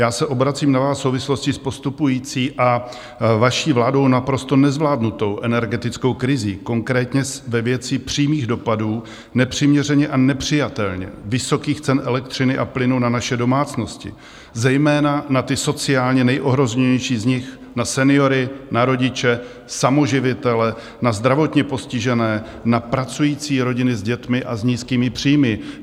Já se obracím na vás v souvislosti s postupující a vaší vládou naprosto nezvládnutou energetickou krizí, konkrétně ve věci přímých dopadů nepřiměřeně a nepřijatelně vysokých cen elektřiny a plynu na naše domácnosti, zejména na ty sociálně nejohroženější z nich, na seniory, na rodiče, samoživitele, na zdravotně postižené, na pracující rodiny s dětmi a s nízkými příjmy.